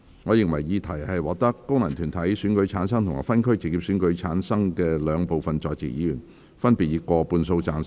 我認為議題獲得經由功能團體選舉產生及分區直接選舉產生的兩部分在席議員，分別以過半數贊成。